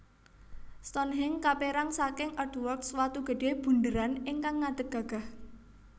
Stonhenge kaperang saking Earthworks watu gedhe bundheran ingkang ngadeg gagah